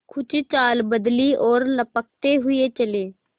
कुछ चाल बदली और लपकते हुए चले